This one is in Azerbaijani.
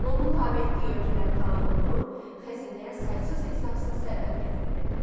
Onun tabe etdiyi ölkələr talan olunur, xəzinəyə saysız-hesabsız sərvət gətirilirdi.